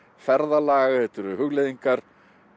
ferðalag þetta eru hugleiðingar